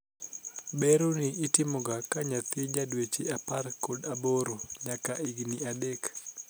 Bero ni itimoga ka nyathi jadweche apar kod aboro nyaka higni adek.